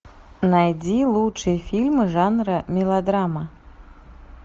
найди лучшие фильмы жанра мелодрама